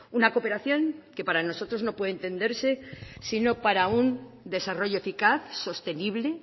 una cooperación que para nosotros no puede entenderse sino para un desarrollo eficaz sostenible